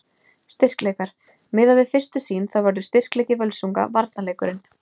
Styrkleikar: Miðað við fyrstu sýn þá verður styrkleiki Völsunga varnarleikurinn.